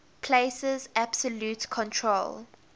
places absolute control